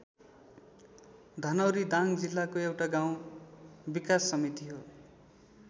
धनौरी दाङ जिल्लाको एउटा गाउँ विकास समिति हो।